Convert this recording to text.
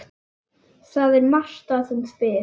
Það er Marta sem spyr.